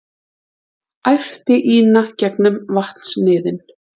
æpti Ína gegnum vatnsniðinn.